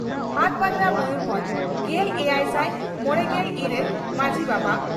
ᱦᱟᱴᱵᱟᱫᱽᱲᱟ ᱢᱚᱭᱩᱨᱵᱷᱚᱸᱡᱽ ᱾ᱜᱮᱞ ᱮᱭᱟᱭ ᱥᱟᱭ ᱢᱚᱲᱮᱜᱮᱞ ᱤᱨᱟᱹᱞ ᱹ ᱢᱟᱡᱷᱤ ᱵᱟᱵᱟ